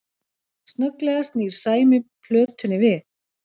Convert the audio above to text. Snögglega snýr Sæmi plötunni við